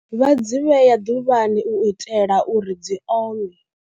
Vha dzi vhea ḓuvhani u itela uri dzi ome.